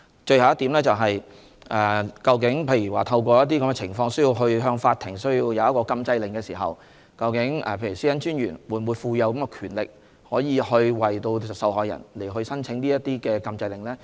最後一點是，如果出現某些情況，以致需要向法庭申請禁制令時，會否賦予專員權力為受害人申請禁制令呢？